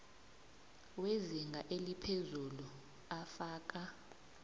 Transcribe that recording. wezinga eliphezulu afaka